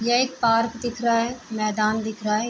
यह एक पार्क दिख रहा है। मैदान दिख रहा है।